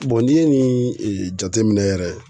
n'i ye nin jateminɛ yɛrɛ